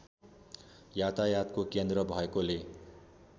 यातायातको केन्द्र भएकोले